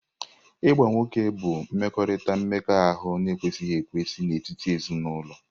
Ịgba nwoke bụ mmekọrịta mmekọahụ na-ekwesịghị ekwesị n'etiti ezinụlọ.